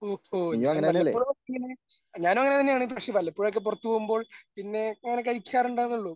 ഓ ഓ ഞാൻ വല്ലപ്പോഴുമൊക്കെ ഇങ്ങനെ ഞാനും അങ്ങനെ തന്നെയാണ് പക്ഷേ വല്ലപ്പോഴുമൊക്കെ പുറത്തു പോകുമ്പോൾ പിന്നെ അങ്ങനെ കഴിച്ചാറുണ്ടന്നെയുള്ളൂ.